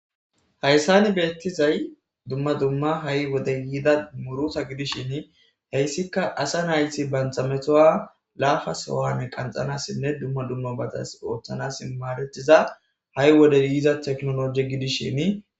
Hayssan bettizay dumma dummaha'i wode yidda murutta gidishin heyssika asa naytti bantta metuwa lafa sohon qanxanasinne dumma dumma bantas oththanas madettiza ha'i wode yiza technoleje giddishin.